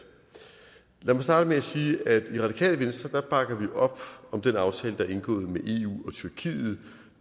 lad mig starte med at sige at i radikale venstre bakker vi op om den aftale der er indgået mellem eu og tyrkiet